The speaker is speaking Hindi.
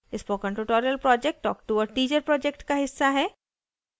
spoken tutorial project talk to a teacher project का हिस्सा है